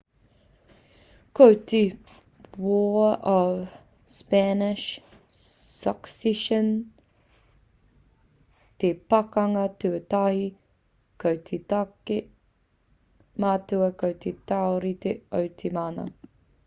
ko te war of spanish succession te pakanga tuatahi ko te take matua ko te taurite o te mana